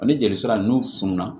Ani jeli sira nunnu fununna